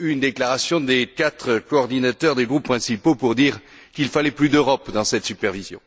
une déclaration des quatre coordinateurs des groupes principaux pour dire qu'il fallait plus d'Europe dans cette supervision.